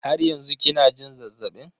Har yanzu kina jin zazzabin?